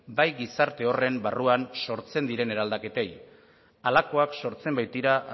bai gizarte horren barruan sortzen diren eraldaketei halakoak sortzen baitira